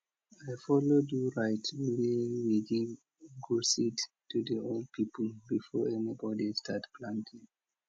i follow do rite where we give ugu seed to the old people before anybody start planting